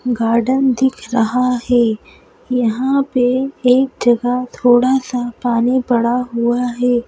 Garden दिख रहा है यहां पे एक जगह थोड़ा सा पानी पड़ा हुआ है।